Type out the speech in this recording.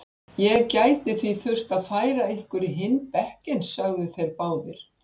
Ég gæti því þurft að færa ykkur í hinn bekkinn sögðu þeir báðir.